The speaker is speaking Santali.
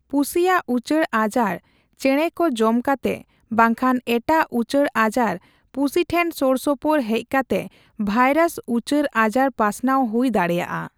ᱯᱩᱥᱤᱭᱟᱜ ᱩᱪᱟᱹᱲ ᱟᱡᱟᱨ ᱪᱮᱸᱬᱮᱠᱚ ᱡᱚᱢ ᱠᱟᱛᱮ ᱵᱟᱝᱠᱷᱟᱱ ᱮᱴᱟᱜ ᱩᱪᱟᱹᱲ ᱟᱡᱟᱨ ᱯᱩᱥᱤ ᱴᱷᱮᱱ ᱥᱳᱨᱥᱳᱯᱳᱨ ᱦᱮᱡᱠᱟᱛᱮ ᱵᱷᱟᱭᱨᱟᱥ ᱩᱪᱟᱹᱲ ᱟᱡᱟᱨ ᱯᱟᱥᱱᱟᱣ ᱦᱩᱭ ᱫᱟᱲᱮᱭᱟᱜᱼᱟ ᱾